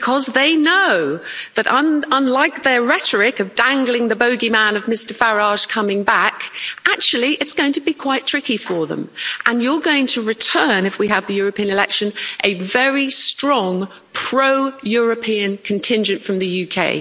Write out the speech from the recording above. They know that, unlike their rhetoric of dangling the bogeyman of Mr Farage coming back, actually, it's going to be quite tricky for them, and you're going to return, if we have the European elections, to a very strong pro European contingent from the UK.